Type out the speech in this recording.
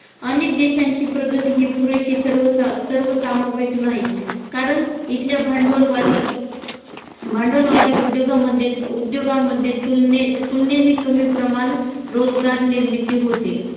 अनेक देशांची प्रगती हि पुरेशी सर्व सर्वसामाविक नाही कारण इथल्या भांडवलवादी भांडवलवादी उद्योगामध्ये उद्योगामध्ये तुलनेने तुलनेने कमी प्रमाण रोजगार निर्मिती होते